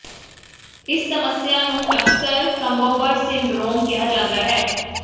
ਇਸ ਸਮੱਸਿਆ ਨੂੰ ਅਕਸਰ ਕੰਬੋਬਰ ਸਿੰਡਰੋਮ ਕਿਹਾ ਜਾਂਦਾ ਹੈ